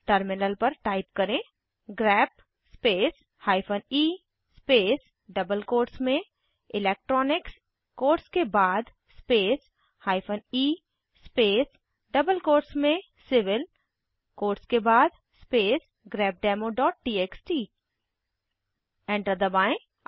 terminal पर type करें grep space hyphen e space double quotes में इलेक्ट्रॉनिक्स कोट्स के बाद space hyphen e space double quotes में सिविल कोट्स के बाद स्पेस grepdemoटीएक्सटी एंटर दबाएं